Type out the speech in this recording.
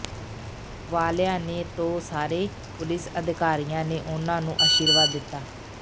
ਵਾਲਿਆ ਨੇ ਤੋ ਸਾਰੇ ਪੁਲਿਸ ਅਧਿਕਾਰੀਆਂ ਨੇ ਉਹਨਾਂ ਨੂੰ ਆਸ਼ੀਰਵਾਦ ਦਿੱਤਾ